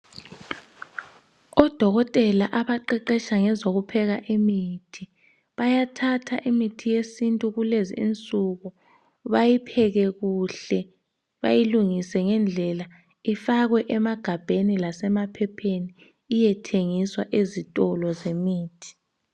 odokotela abaqeqetsha ngezokupheka imithi bayathatha imithi yesintu kulezi insuku bayipheke kuhle bayilungise ngendlela ifakwe emagabheni lasema phepheni iyethengiswa ezitolo zemithi